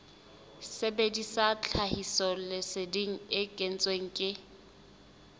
sebedisa tlhahisoleseding e kentsweng ke